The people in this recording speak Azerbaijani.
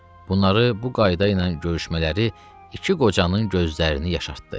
Bunların bu qayda ilə görüşmələri iki qocanın gözlərini yaşartdı.